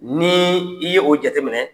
Nii i ye o jateminɛ